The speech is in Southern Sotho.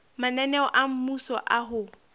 mananeo a mmuso a ho